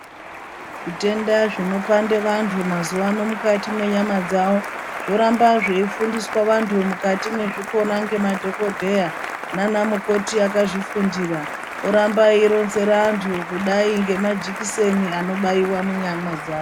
Zvitenda zvinopande vantu mazuvano mukati mwenyama dzavo zvoramba zveifundiswa vantu mukati mwezvikora ngemadhokodheya nanamukoti akazvifundira oramba eironzera antu kudai ngemajekiseni anobaiwe munyama dzawo.